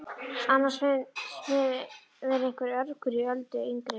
Annars finnst mér vera einhver urgur í Öldu yngri.